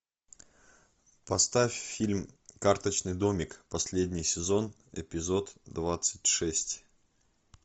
поставь фильм карточный домик последний сезон эпизод двадцать шесть